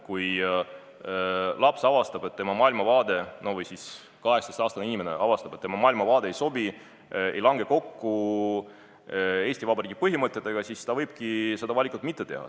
Kui 18-aastane inimene avastab, et tema maailmavaade ei sobi või ei lange kokku Eesti Vabariigi põhimõtetega, siis ta võibki seda valikut mitte langetada.